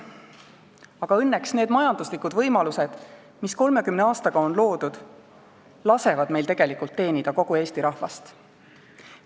Aga õnneks lasevad need majanduslikud võimalused, mis 30 aastaga on loodud, meil tegelikult teenida kogu Eesti rahvast.